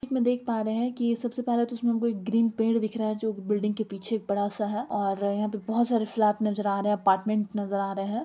इसमें देख पा रहें हैं की सबसे पहले तो इसमें कोई ग्रीन पेड़ दिख रहा है जो बिल्डिंग के पीछे एक बड़ा सा है और यहाँ पे बहुत सारे फ्लैट नजर आ रहें हैं अपार्टमेंट नजर आ रहें हैं।